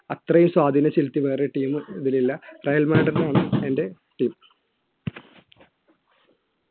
അത്രയും സ്വാധീനംചെലുത്തിയ വേറൊരു team ഇതിലില്ല റയൽ മാഡ്രിഡ് ആണ് എൻറെ team